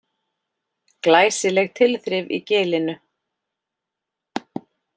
Glæsileg tilþrif í Gilinu